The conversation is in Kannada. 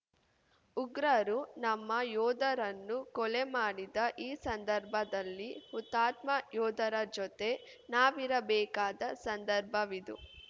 ಉಗ್ರರು ನಮ್ಮ ಯೋಧರನ್ನು ಕೊಲೆ ಮಾಡಿದ ಈ ಸಂದರ್ಭದಲ್ಲಿ ಹುತಾತ್ಮ ಯೋಧರ ಜೊತೆ ನಾವಿರಬೇಕಾದ ಸಂದರ್ಭವಿದು